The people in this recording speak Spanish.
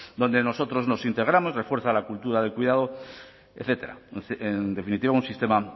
donde nosotros nos integramos refuerza la cultura del cuidado etcétera en definitiva un sistema